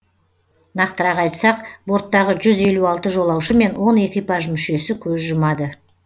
нақтырақ айтсақ борттағы жүз елу алты жолаушы мен он экипаж мүшесі көз жұмады